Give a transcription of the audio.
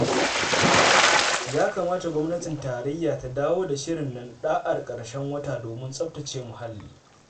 Ya kamata Gwamnatin Tarayya ta dawo da shirin nan ɗa'ar ƙarshen wata domin tsafata ce muhalli.